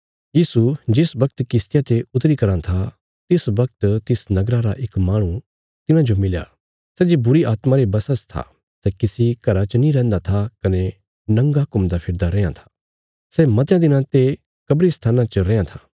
यीशु जिस बगत किश्तिया ते उतरी कराँ था तिस बगत तिस नगरा रा इक माहणु तिन्हाजो मिलया सै जे बुरीआत्मां रे बशा च था सै किसी घरा च नीं रैंहदा था कने नंगा घुमदा फिरदा रैयां था सै मतयां दिनां ते कब्रिस्तान च रेआं था